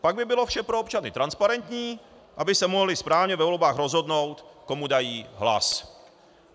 Pak by bylo vše pro občany transparentní, aby se mohli správně ve volbách rozhodnout, komu dají hlas.